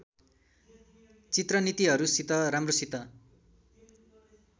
चित्र नीतिहरूसित राम्रोसित